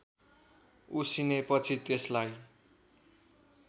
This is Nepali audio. उसिनेपछि त्यसलाई